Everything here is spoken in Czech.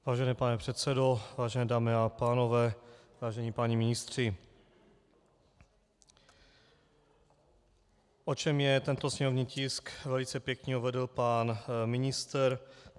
Vážený pane předsedo, vážené dámy a pánové, vážení páni ministři, o čem je tento sněmovní tisk, velice pěkně uvedl pan ministr.